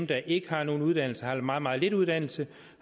der ikke har nogen uddannelse eller har meget meget lidt uddannelse